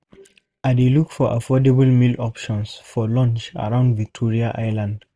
I dey look for affordable meal options for lunch around Victoria Island